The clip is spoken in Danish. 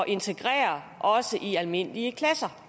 integrere også i almindelige klasser